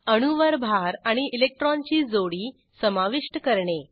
अणूवर भार आणि इलेक्ट्रॉनची जोडी समाविष्ट करणे